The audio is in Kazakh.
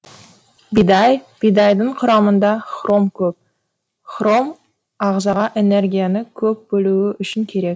бидай бидайдың құрамында хром көп хром ағзаға энергияны көп бөлуі үшін керек